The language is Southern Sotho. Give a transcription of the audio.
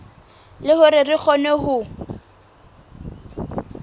le hore re kgone ho